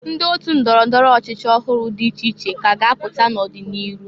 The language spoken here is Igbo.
Ndị otu ndọrọ ndọrọ ọchịchị ọhụrụ dị iche iche k' a ga-apụta n'ọ dị n'iru.